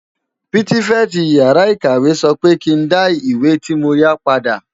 Pitifèti iyàrá ikáwé sò pè kin dá iwé ti mó yá pàdá